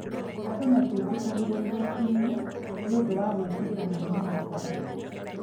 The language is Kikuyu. andũ matiĩtĩkagĩrwo igoti-inĩ nĩ ũndũ wa gwĩtigĩra mũrimũ wa korona